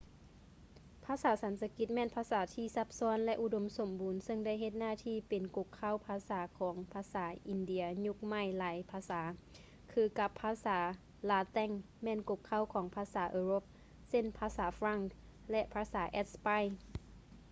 ພາສາສັນສະກິດ ແມ່ນພາສາທີ່ຊັບຊ້ອນ ແລະ ອຸດົມສົມບູນ ຊຶ່ງໄດ້ເຮັດໜ້າທີ່ ເປັນກົກເຄົ້າພາສາຂອງພາສາອິນເດຍຍຸກໃໝ່ຫຼາຍພາສາ ຄືກັບພາສາລາແຕັງ ແມ່ນກົກເຄົ້າຂອງພາສາເອີຣົບ ເຊັ່ນ ພາສາຝຼັ່ງ ແລະ ພາສາແອັດສະປາຍ